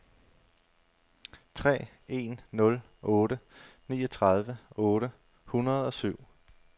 tre en nul otte niogtredive otte hundrede og syv